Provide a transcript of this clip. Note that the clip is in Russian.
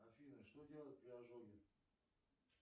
афина что делать при ожоге